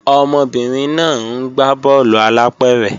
Ọmọbìnrin náà ń gbá bọ́ọ̀lù alápẹ̀rẹ̀